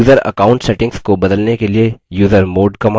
user account settings को बदलने के लिए usermod command